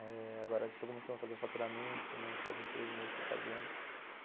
Eh... Agora estou começando a fazer o faturamento, faz uns três meses que estou fazendo.